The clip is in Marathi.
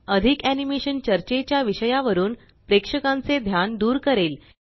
अधिक एनीमेशन चर्चेच्या विषया वरुन प्रेक्षकांचे ध्यान दूर करेल